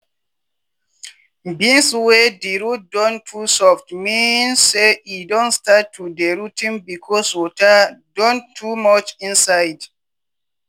beans wey di root don too soft mean say e don start to dey rot ten becos water don too much inside.